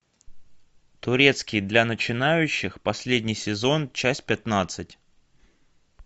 турецкий для начинающих последний сезон часть пятнадцать